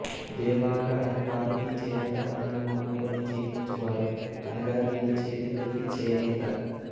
దేవాంగ అను వారు ఈ చేనేత పనిని నమ్ముకుని జీవించువారు అనగా వీరి చేతి వృత్తి చేనేత